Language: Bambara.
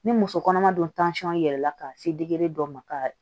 Ni muso kɔnɔma don yɛlɛla ka se dɔ ma ka